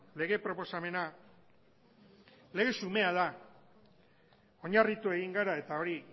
lege proposamena lege xumea da oinarritu egin gara eta hori